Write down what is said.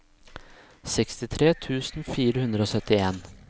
sekstifire tusen fire hundre og syttien